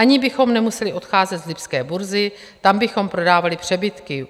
Ani bychom nemuseli odcházet z lipské burzy, tam bychom prodávali přebytky.